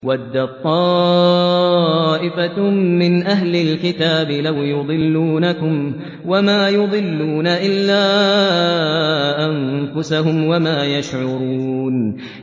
وَدَّت طَّائِفَةٌ مِّنْ أَهْلِ الْكِتَابِ لَوْ يُضِلُّونَكُمْ وَمَا يُضِلُّونَ إِلَّا أَنفُسَهُمْ وَمَا يَشْعُرُونَ